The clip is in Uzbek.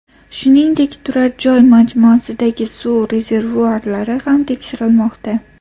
Shuningdek, turar-joy majmuasidagi suv rezervuarlari ham tekshirilmoqda.